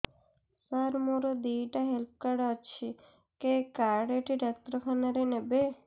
ସାର ମୋର ଦିଇଟା health card ଅଛି କେ କାର୍ଡ ଟି ଡାକ୍ତରଖାନା ରେ ନେବେ